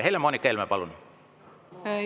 Helle-Moonika Helme, palun!